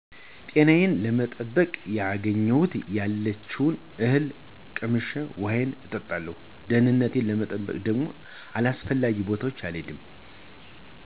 ጤናዬን ለመጠበቅ ያገኘሁትን ያለችውን እህል ቀምሼ ውሀዬን እጠጣለሁ። ደህንነቴን ለመጠበቅ ደግሞ አላስፈላጊ ቦታዎች አልሄድም።